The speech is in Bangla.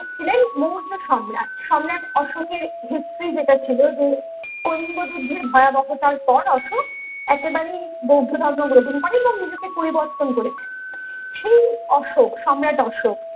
ছিলেন মৌর্য সম্রাট সম্রাট অশোকের history যেটা ছিল যে কৌর্ণ যুদ্ধের ভয়াবহতার পর অশোক একেবারে বৌদ্ধ ধর্ম গ্রহণ করেন এবং নিজেকে পরিবর্তন করেছিলেন সেই অশোক সম্রাট অশোক